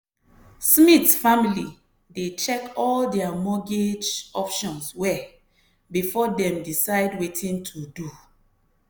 smith family dey check all their mortgage options well before dem decide wetin to do.